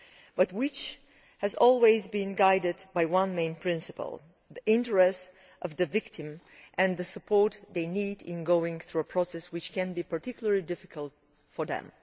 It has always been guided by one main principle the interest of the victim and the support they need in getting through a process which can be particularly difficult for them.